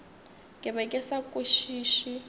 ke be ke sa kwešiše